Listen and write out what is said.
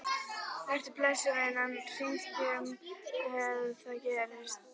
Vertu blessuð, vinan, við hringjum ef eitthvað gerist.